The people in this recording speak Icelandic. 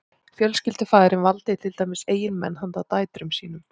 fjölskyldufaðirinn valdi til dæmis eiginmenn handa dætrum sínum